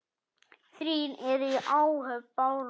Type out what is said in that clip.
Þrír eru í áhöfn Bárðar.